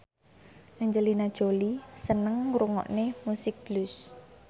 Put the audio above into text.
Angelina Jolie seneng ngrungokne musik blues